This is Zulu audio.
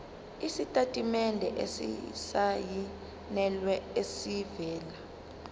isitatimende esisayinelwe esivela